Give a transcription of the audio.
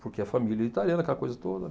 Porque a família italiana, aquela coisa toda.